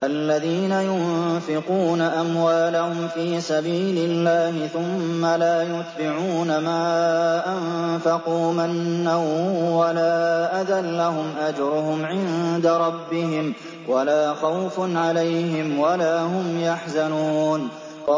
الَّذِينَ يُنفِقُونَ أَمْوَالَهُمْ فِي سَبِيلِ اللَّهِ ثُمَّ لَا يُتْبِعُونَ مَا أَنفَقُوا مَنًّا وَلَا أَذًى ۙ لَّهُمْ أَجْرُهُمْ عِندَ رَبِّهِمْ وَلَا خَوْفٌ عَلَيْهِمْ وَلَا هُمْ يَحْزَنُونَ